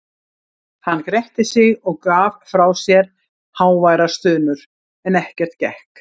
Hann gretti sig og gaf frá sér háværar stunur, en ekkert gekk.